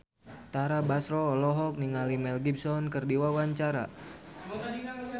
Tara Basro olohok ningali Mel Gibson keur diwawancara